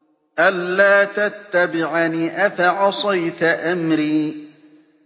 أَلَّا تَتَّبِعَنِ ۖ أَفَعَصَيْتَ أَمْرِي